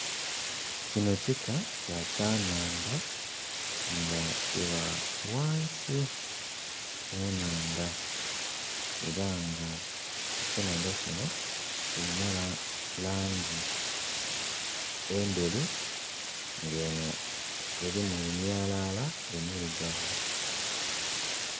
Kino kika kya kyanandha nga kiba wansi mu nanaandha era nga kyenandha kino kirina langi enderu nga enho erimu emyalala emirugavu